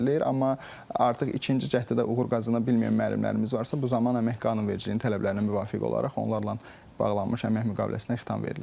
Amma artıq ikinci cəhddə də uğur qazana bilməyən müəllimlərimiz varsa, bu zaman əmək qanunvericiliyinin tələblərinə müvafiq olaraq onlarla bağlanmış əmək müqaviləsinə xitam verilir.